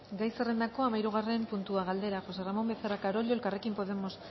gai zerrendako hamahirugarren puntua galdera josé ramón becerra carollo elkarrekin podemos